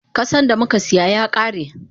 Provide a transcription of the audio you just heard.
Kusan damuka siya yakare.